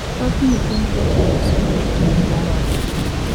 Thoth nyithind jotelo somo e pinje ma oko